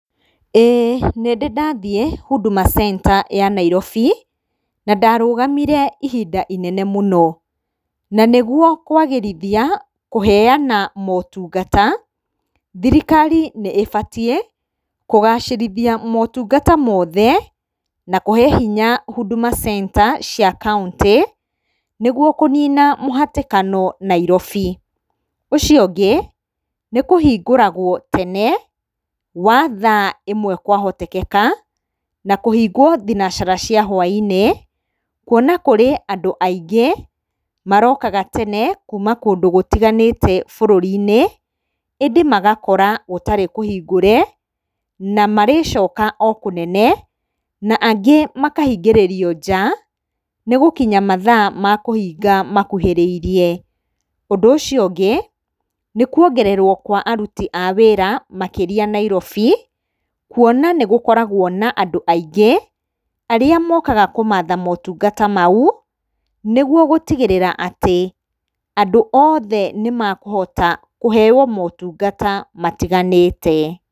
Ĩĩ nĩndĩ ndathiĩ Huduma center ya Nairobi, na ndarũgamire ihinda rĩnene mũno. Na nĩguo kwagĩrithia kũheana motungata, thirikari nĩ ĩbatiĩ kũgacĩrithia motungata mothe na kũhe hinya huduma center cia kauntĩ, nĩguo kũnina mũhatĩkano Nairobi. Ũcio ũngĩ, nĩ kũhingũragwo tene wa thaa ĩmwe kwahotekeka, na kũhingwo thinacara cia hwa-inĩ, kuona kũrĩ andũ aingĩ marokaga tene kuma kũndũ gũtiganĩte bũrũri-inĩ, ĩndĩ magakora gũtarĩ kũhingũre na marĩcoka okũnene, na angĩ makahingĩrĩrio nja nĩ gũkinya mathaa makũhinga makuhĩrĩirie. Ũndũ ũcio ũngĩ, nĩkuongererwo kwa aruti a wĩra makĩria Nairobi, kuona nĩgũkoragwo na andũ aingĩ arĩa mokaga kũmatha motungata mau, nĩguo gũtigĩrĩra atĩ andũ othe nĩmekũhota kũheo motungata matiganĩte.